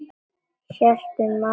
Hélt um magann.